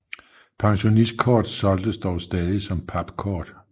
Pensionistkort solgtes dog stadig som papkort